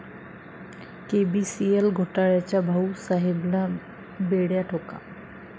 KBCL घोटाळ्याच्या 'भाऊ'साहेबला बेड्या ठोका!